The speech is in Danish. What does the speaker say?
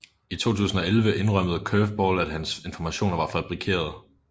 I 2011 indrømmede Curveball at hans informationer var fabrikerede